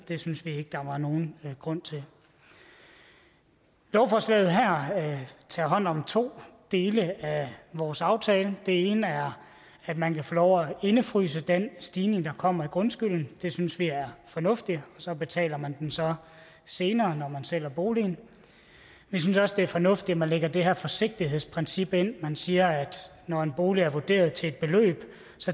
det synes vi ikke der var nogen grund til lovforslaget her tager hånd om to dele af vores aftale den ene er at man kan få lov at indefryse den stigning der kommer i grundskylden det synes vi er fornuftigt så betaler man den så senere når man sælger boligen vi synes også det er fornuftigt at man lægger det her forsigtighedsprincip ind man siger at når en bolig er vurderet til et beløb